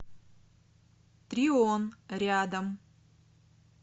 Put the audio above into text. трион рядом